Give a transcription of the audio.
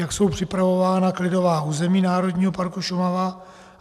Jak jsou připravována klidová území Národního parku Šumava?